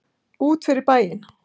Út fyrir bæinn.